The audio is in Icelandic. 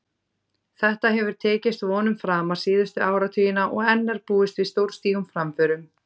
Þetta hefur tekist vonum framar síðustu áratugina og enn er búist við stórstígum framförum.